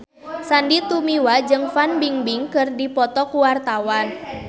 Sandy Tumiwa jeung Fan Bingbing keur dipoto ku wartawan